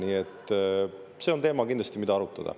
Nii et see on kindlasti teema, mida arutada.